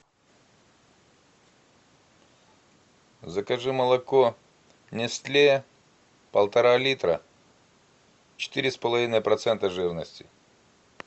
закажи молоко нестле полтора литра четыре с половиной процента жирности